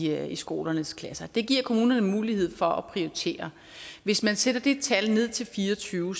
er i skolernes klasser det giver kommunerne mulighed for at prioritere hvis man sætter det tal ned til fire og tyve